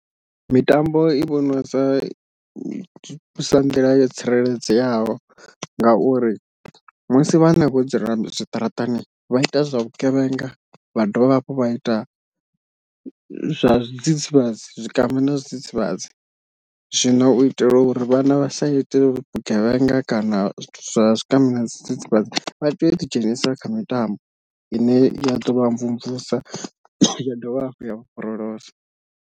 Mitambo i vhonwa sa sa nḓila yo tsireledzeaho ngauri musi vhana vho dzula zwiṱaraṱani vha ita zwa vhugevhenga vha dovha hafhu vha ita zwa zwidzidzivhadzi, zwikambi na zwidzidzivhadzi zwino u itela uri vhana vha sa ite vhugevhenga kana zwa zwikambi na zwidzidzivhadzi vha tea u ḓi dzhenisa kha mitambo ine ya ḓo vha mvumvusa ya dovha hafhu ya vha borolosa.